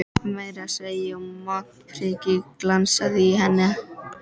Meira að segja montprikið glansaði í hendi hans.